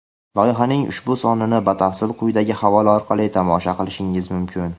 Loyihaning ushbu sonini batafsil quyidagi havola orqali tomosha qilishingiz mumkin.